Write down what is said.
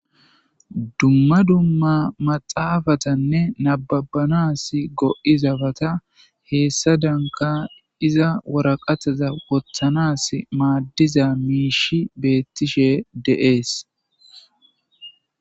dumma dumma maxaafatanne nababanas go7izabata heessa danka iza woraqataza wothanas maaddiza miishi beettishe deees